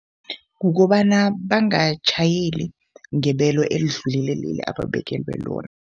Kukobana bangatjhayeli ngebelo elidlulele leli ababekelwe lona.